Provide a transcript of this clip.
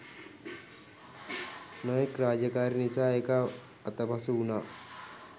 නොයෙක් රාජකාරි නිසා ඒක අතපසු උනා